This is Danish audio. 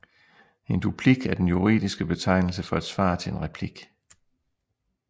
En duplik er den juridske betegnelse for et svar til en replik